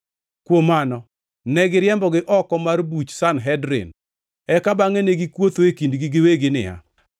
Kuom mano, negiriembogi oko mar buch Sanhedrin, eka bangʼe ne gikuotho e kindgi giwegi niya,